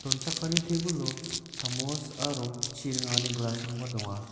donchakani tebilo chamos aro chi ringani glass-rangba donga.